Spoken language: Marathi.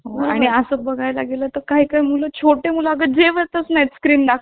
आणि असं बघायला गेलं तर काय काय मुळे छोटे मुलाखत जेवतच नाही स्क्रीन दाखवली